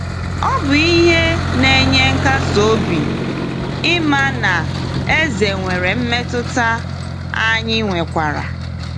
Ọ bụ ihe na-enye nkasi obi ịma na Eze nwere mmetụta anyị nwekwara!